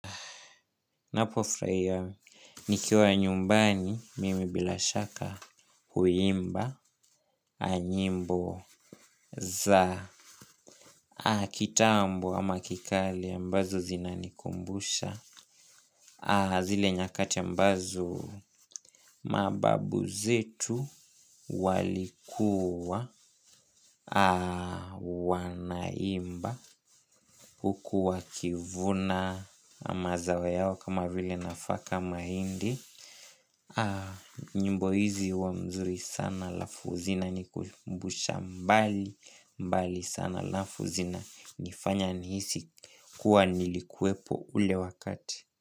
Napofurahia, nikiwa nyumbani mimi bila shaka huimba, nyimbo za kitambo ama kikale ambazo zinanikumbusha, zile nyakati ambazo mababu zetu walikuwa wanaimba huku wakivuna mazao yao kama vile nafaka mahindi. Nyimbo hizi huwa mzuri sana alafu zina nikumbusha mbali. Mbali sana alafu zinanifanya nihisi kuwa nilikuwepo ule wakati.